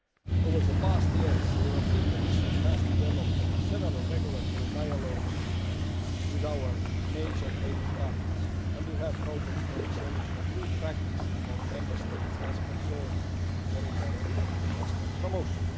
Over the past years the European Commission has developed several regulatory dialogues with our major trading partners and we have projects for the exchange of good practice among Member States as concerns foreign direct investment promotion.